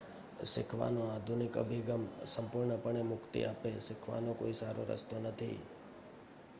શીખવાનો આધુનિક અભિગમ સંપૂર્ણપણે મુક્તિ આપે.શીખવાનો કોઈ સારો રસ્તો નથી